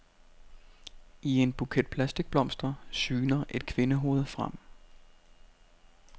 I en buket plastikblomster syner et kvindehoved frem.